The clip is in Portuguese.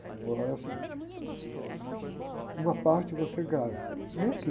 Ele falou, olha, é o seguinte, uma parte você grava, que nem aqui.